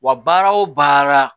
Wa baara o baara